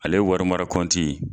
Ale wari mara kɔnti